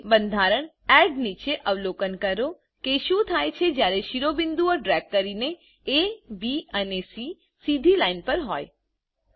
હવે બંધારણ એડ નીચે અવલોકન કરો કે શું થાય છેજયારે શિરોબિંદુઓ ડ્રેગ કરીને એ B અને સી સીધી લાઈનપર હોય છે